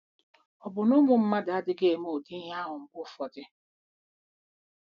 Ọ̀ bụ na ụmụ mmadụ adịghị eme ụdị ihe ahụ mgbe ụfọdụ?